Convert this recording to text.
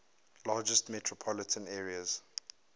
largest metropolitan areas